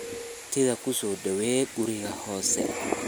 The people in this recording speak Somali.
Martidha kusodhawey kuriga xoose.